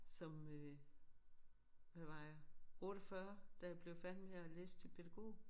Som øh hvad var jeg 48 da jeg blev færdig med at læse til pædagog